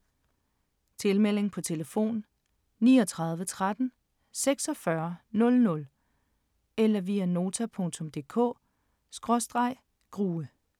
Tilmelding: på telefon 39 13 46 00 eller via nota.dk/grue